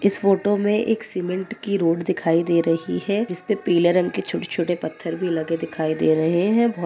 इस फ़ोटो में एक सीमेन्ट की रोड दिखाई दे रही है जिस पर पीले रंग के छोटे-छोटे पत्थर भी दिखाई दे रहे हें ।--